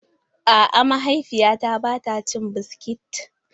A'a, mahaifiyata ba ta cin biskit.